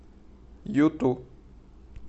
юту